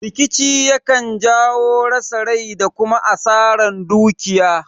Rikici yakan jawo rasa rai da kuma asaran dukiya